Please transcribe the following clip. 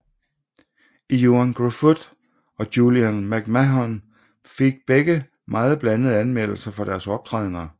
Ioan Gruffud og Julian McMahon fik begge meget blandede anmeldelser for deres optrædener